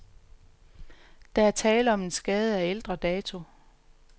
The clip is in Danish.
Der er tale om en skade af ældre dato.